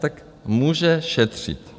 Tak může šetřit.